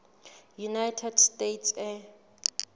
united states air